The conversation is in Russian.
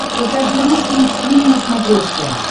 покажи русский экстрим на смотрешке